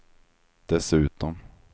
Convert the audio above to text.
dessutom